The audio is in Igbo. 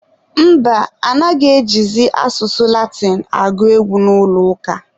mba, anaghị ejizi asụsụ Latinụ agụ egwu n'ụlọ ụka.